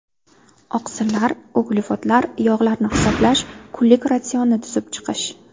Oqsillar, uglevodlar, yog‘larni hisoblash, kunlik ratsionni tuzib chiqish.